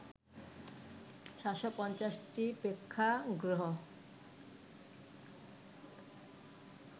৭৫০টি প্রেক্ষাগৃহ